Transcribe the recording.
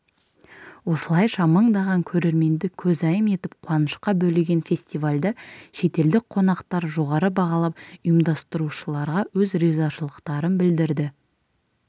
осылайша мыңдаған көрерменді көзайым етіп қуанышқа бөлеген фестивальді шетелдік қонақтар жоғары бағалап ұйымдастырушыларға өз ризашылықтарын білдірді